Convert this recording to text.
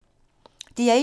DR1